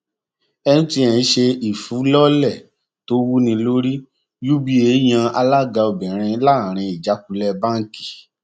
mtn ṣe um ìfilọlẹ tó wúnilórí uba yan alága obìnrin láàrin ìjákulẹ báńkì